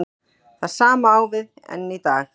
Það sama á við enn í dag.